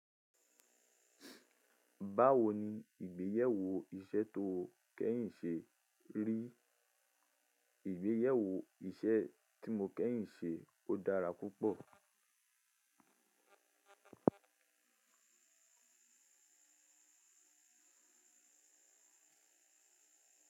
Báwo ni ìgbéyàwó iṣẹ́ tó kẹ́yìn ṣe rí? Ìgbéyàwó iṣẹ́ tí mo kẹ́yìn ṣe ó dára púpọ̀.